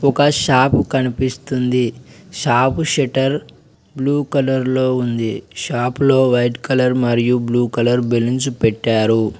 ఒక షాపు కనిపిస్తుంది shop shutter blue colour లో ఉంది షాపులో వైట్ కలర్ మరియు బ్లూ కలర్ బెలూన్స్ పెట్టారు.